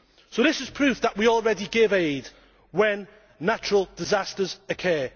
So this is proof that we already give aid when natural disasters occur.